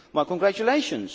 My congratulations!